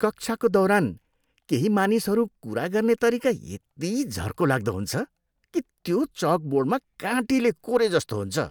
कक्षाको दौरान केही मानिसहरू कुरा गर्ने तरिका यति झर्को लाग्दो हुन्छ कि, त्यो चकबोर्डमा काँटीले कोरेजस्तो हुन्छ।